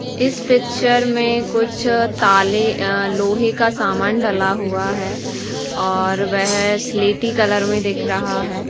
इस पिक्चर में कुछ ताले अ लोहे का सामान डला हुआ है और वेह स्लेटी कलर में दिख रहा है।